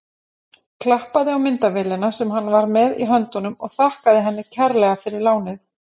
Klappaði á myndavélina sem hann var með í höndunum og þakkaði henni kærlega fyrir lánið.